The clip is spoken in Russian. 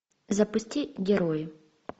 запусти герои